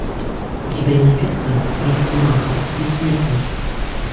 у тебя найдется росомаха бессмертный